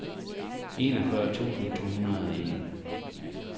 enogfyrre tusind to hundrede og en